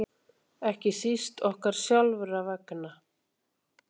Ekki síst okkar sjálfra vegna.